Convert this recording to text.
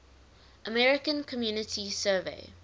american community survey